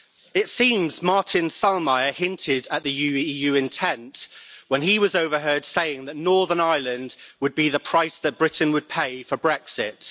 It seems Martin Selmayr hinted at the EU intent when he was overheard saying that Northern Ireland would be the price that Britain would pay for Brexit.